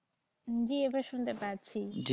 জি এবার শুনতে পাচ্ছি।